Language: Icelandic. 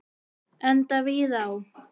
Enda víða áð.